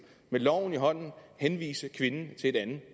med loven i hånden henvise kvinden til et andet